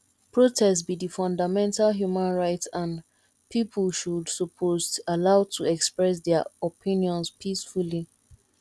protest be di fundamental human right and people should suppose allowed to express dia opinions peacefully